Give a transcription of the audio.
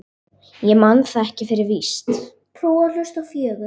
Ég man það ekki fyrir víst.